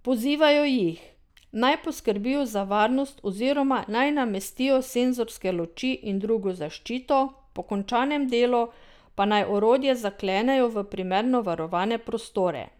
Pozivajo jih, naj poskrbijo za varnost oziroma naj namestijo senzorske luči in drugo zaščito, po končanem delu pa naj orodje zaklenejo v primerno varovane prostore.